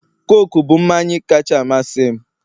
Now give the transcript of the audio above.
Coke bụ mmanyi kacha amasị m